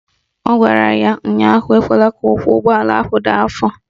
Ọ gwara ya ụnyaahụ "Ekwela ka ụkwụ ụgbọala ahụ daa afọ"!